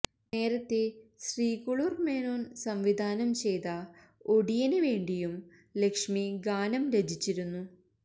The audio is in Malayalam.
നേരത്തെ ശ്രീകുളുർ മേനോൻ സംവിധാനം ചെയ്ത ഒടിയന് വേണ്ടിയും ലക്ഷ്മി ഗാനം രചിച്ചിരുന്നു